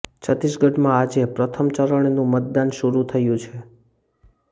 છત્તીસગઢમાં આજે પ્રથમ ચરણનું મતદાન શરૂ થયુ છે